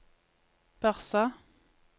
Børsa